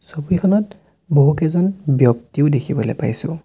ছবিখনত বহুকেইজন ব্যক্তিও দেখিবলে পাইছোঁ।